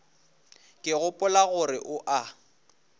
ke gopola gore o a